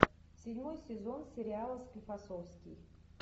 седьмой сезон сериала склифосовский